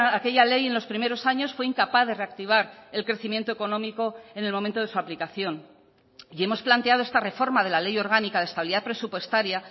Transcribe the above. aquella ley en los primeros años fue incapaz de reactivar el crecimiento económico en el momento de su aplicación y hemos planteado esta reforma de la ley orgánica de estabilidad presupuestaria